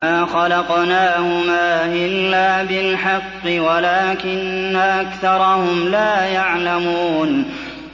مَا خَلَقْنَاهُمَا إِلَّا بِالْحَقِّ وَلَٰكِنَّ أَكْثَرَهُمْ لَا يَعْلَمُونَ